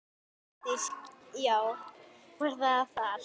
Vigdís: Já, var það þar.